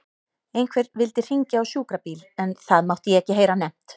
Einhver vildi hringja á sjúkrabíl en það mátti ég ekki heyra nefnt.